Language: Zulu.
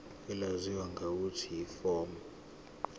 elaziwa ngelokuthi yiform